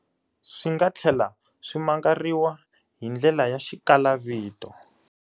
Swi nga tlhela swi mangariwa hi ndlela ya xikalavito.